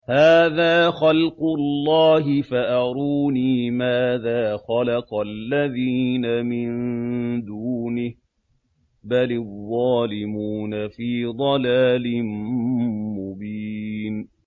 هَٰذَا خَلْقُ اللَّهِ فَأَرُونِي مَاذَا خَلَقَ الَّذِينَ مِن دُونِهِ ۚ بَلِ الظَّالِمُونَ فِي ضَلَالٍ مُّبِينٍ